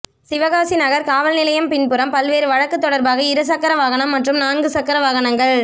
சிவகாசி நகா் காவல் நிலையம் பின்புறம் பல்வேறு வழக்குத் தொடா்பாக இருசக்கர வாகனம் மற்றும் நான்கு சக்கர வாகனங்கள்